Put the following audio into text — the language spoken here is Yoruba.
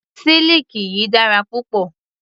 Siliki yìí dára púpọ̀.